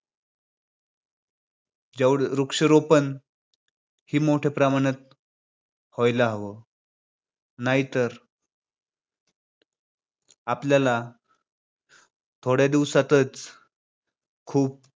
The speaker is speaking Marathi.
जौ~ वृक्षारोपण हो मोठ्या प्रमाणात व्हायला हवं. नाहीतर आपल्याला थोड्या दिवसातच खूप